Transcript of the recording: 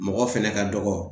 Mɔgɔ fɛnɛ ka dɔgɔ.